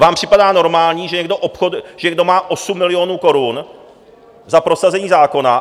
Vám připadá normální, že někdo má 8 milionů korun za prosazení zákona?